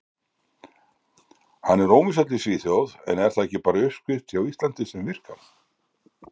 Hann er óvinsæll í Svíþjóð en er það ekki bara uppskrift hjá Íslandi sem virkar?